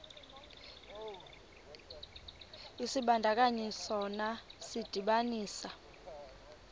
isibandakanyi sona sidibanisa